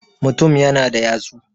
mutum yana da yatsu